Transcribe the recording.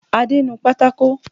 Adé, nu pátákò!